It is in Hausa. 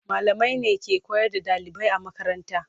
Malamai ne ke koyar da ɗalibai a makaranta.